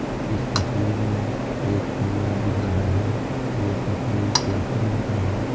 इस तस्वीर में एक कमरा दिख रहा है यह तस्वीर क्लासरूम का है।